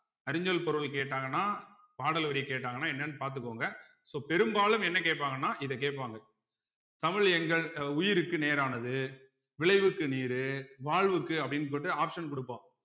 அரிஞ்சொல் பொருள் கேட்டாங்கன்னா பாடல் வரி கேட்டாங்கன்னா என்னன்னு பாத்துக்கோங்க so பெரும்பாலும் என்ன கேட்பாங்கன்னா இத கேட்பாங்க தமிழ் எங்கள் உயிருக்கு நேரானது விளைவுக்கு நீரு வாழ்வுக்கு அப்படின்னு போட்டு option கொடுப்போம்